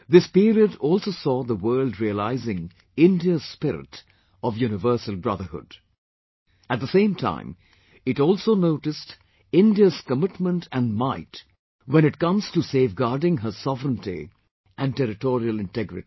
This period also saw the world realising India's spirit of universal brotherhood...at the same time it also noticed India's commitment and might when it comes to safeguarding her sovereignty and territorial integrity